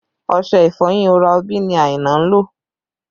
Ọṣẹ ìfọyín Oral B ni Aina ń lò